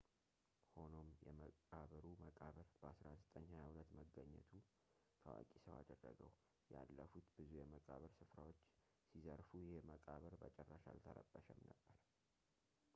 ሆኖም የመቃብሩ መቃብር በ 1922 መገኘቱ ታዋቂ ሰው አደረገው ያለፉት ብዙ የመቃብር ስፍራዎች ሲዘርፉ ይህ መቃብር በጭራሽ አልተረበሸም ነበር